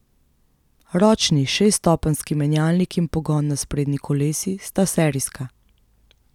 Ročni šeststopenjski menjalnik in pogon na sprednji kolesi sta serijska.